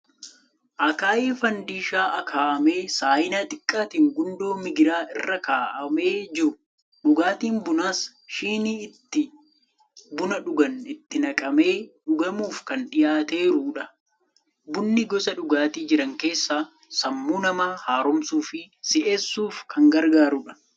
Akaayii faandishaa akaa'amee saayinaa xiqqaatiin gundoo migiraa irra keewwamee jiru. Dhugaatiin bunaas shinii itti buna dhugan itti naqamee dhugamuuf kan dhiyaateerudha. Bunni gosa dhugaatii jiran keessaa sammuu namaa haaromsuu fi si'eessuuf kan gargaarudha.